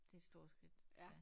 Det et stort skridt at tage